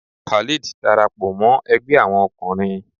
Khalid darapọ mọ Ẹgbẹ Awọn ọkunrin